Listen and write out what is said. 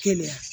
Kelenya